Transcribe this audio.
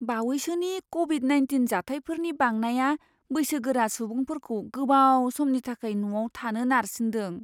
बावैसोनि Covid nineteen जाथायफोरनि बांनाया बैसोगोरा सुबुंफोरखौ गोबाव समनि थाखाय न'आव थानो नारसिनदों।